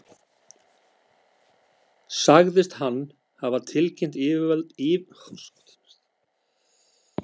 Sagðist hann hafa tilkynnt yfirvöldum í Berlín, að uppreisn hefði verið gerð á skipinu.